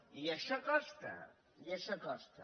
i això costa i això costa